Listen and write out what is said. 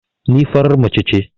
Ni farar mace ce